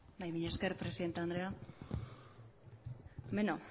mila esker presidente andrea bueno